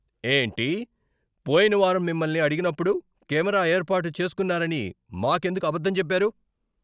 ఏంటి? పోయిన వారం మిమ్మల్ని అడిగినప్పుడు కెమెరా ఏర్పాటు చేస్కున్నారని మాకెందుకు అబద్ధం చెప్పారు?